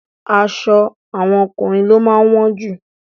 Aṣọ àwọn ọkùnrin ló máa wọ́n jù.